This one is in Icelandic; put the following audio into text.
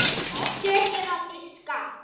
Setjið á diska.